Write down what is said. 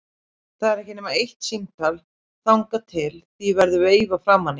Það er ekki nema eitt símtal þangað til því verður veifað framan í hann.